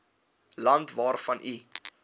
land waarvan u